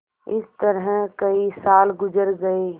इस तरह कई साल गुजर गये